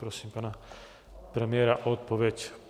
Prosím pana premiéra o odpověď.